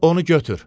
Onu götür.